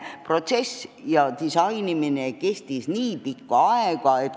Protsess ja disainimine kestis nii pikka aega.